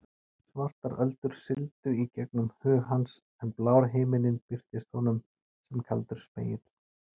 Svartar öldur sigldu í gegnum hug hans en blár himinninn birtist honum sem kaldur spegill.